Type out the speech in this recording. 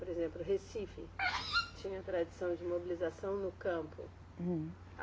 Por exemplo, Recife tinha tradição de mobilização no campo. Hum. A